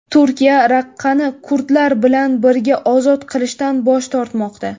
Turkiya Raqqani kurdlar bilan birga ozod qilishdan bosh tortmoqda.